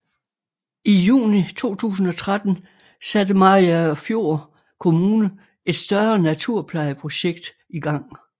I juni 2013 satte Mariagerfjord Kommune et større naturplejeprojekt i gang